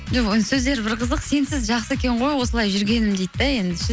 сөздері бір қызық сенсіз жақсы екен ғой осылай жүргенім дейді де енді ше